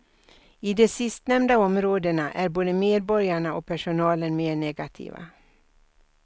I de sistnämnda områdena är både medborgarna och personalen mer negativa.